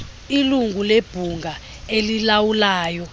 ilungu lebhunga elilawulayo